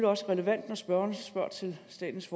også relevant når spørgeren spørger til statens